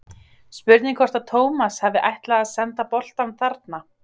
Spurning hvort að Tómas hafi ætlað að senda boltann þarna?